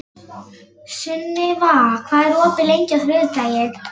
Sunniva, hvað er opið lengi á þriðjudaginn?